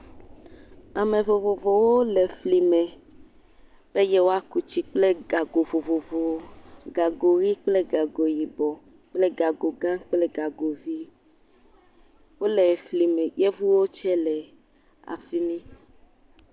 Ame vovovowo le efli me be yewoa ku tsi kple gago vovovowo. Gago ɣi kple gago yibɔ kple gago gã kple gago vi. Wòle fli me. Yevuwo tse le afimi.